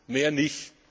ist. Mehr nicht!